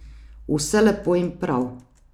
Vse lepo in prav.